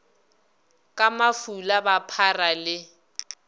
ka mafula ba phara le